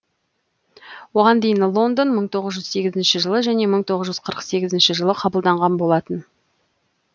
оған дейін лондон мың тоғыз сегізінші жылы және мың тоғыз жүз қырық сегізінші жылы қабылдаған болатын